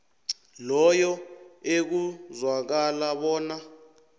loyo ekuzwakala bona